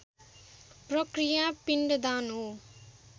प्रक्रिया पिण्डदान हो